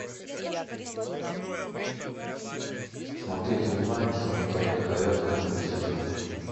смотреть онлайн золотая лихорадка новый сезон